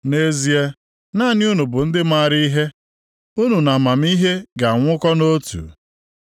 “Nʼezie, naanị unu bụ ndị maara ihe, unu na amamihe ga-anwụkọ nʼotu.